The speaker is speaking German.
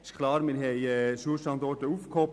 Es ist klar, wir haben Schulstandorte aufgehoben.